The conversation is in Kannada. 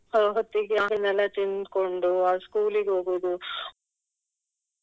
ಹೊತ್ತಿಗೆ ಅದನ್ನೆಲ್ಲ ತಿನ್ಕೊಂಡು ಅಹ್ school ಗೆ ಹೋಗುದು.